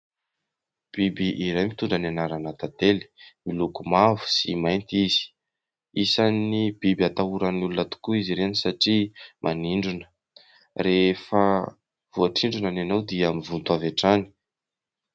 Biby iray mitondra ny anarana "tantely", miloko mavo sy mainty izy. Isan'ny biby atahoran'ny olona tokoa izy ireny satria manindrona. Rehefa voatsindronany ianao dia mivonto avy hatrany.